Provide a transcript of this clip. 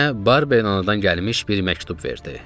Mənə Barber anadan gəlmiş bir məktub verdi.